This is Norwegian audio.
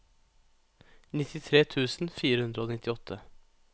nittitre tusen fire hundre og nittiåtte